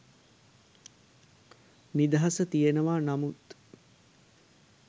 නිදහස තියෙනවා නමුත්